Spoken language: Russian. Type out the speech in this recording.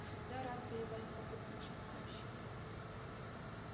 всегда рад передать опыт начинающим